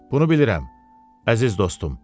Bunu bilirəm, əziz dostum.